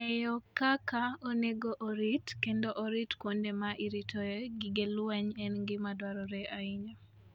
Ng'eyo kaka onego orit kendo orit kuonde ma iritoe gige lweny en gima dwarore ahinya.